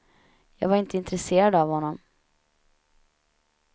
Jag var inte intresserad av honom.